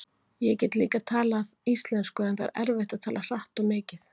Ég get líka talað íslensku en það er erfitt að tala hratt og mikið.